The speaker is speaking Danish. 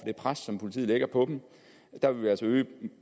det pres som politiet lægger på dem der vil vi altså øge